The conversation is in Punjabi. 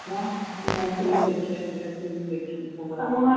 ਅੱਛਾ ਐਨ ਫਿਰ ਦੇਖਿਆ ਨਹੀਂ ਗਾ, ਤੇ ਮੋਹਾ,